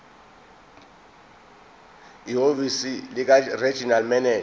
ehhovisi likaregional manager